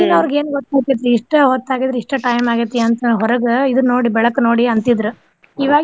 ಈಗಿನವ್ರಿಗೆ ಏನ್ ಗೊತ್ತ ಆಗ್ತೆತ್ರಿ ಇಷ್ಟ ಹೊತ್ತ ಆಗಿದ್ರ ಇಷ್ಟ್ time ಆಗೇತಿ ಅಂತ ಹೊರಗ ಇದ್ ನೋಡಿ ಬೆಳಕ್ ನೋಡಿ ಅಂತಿದ್ರ ಈವಾಗೆ.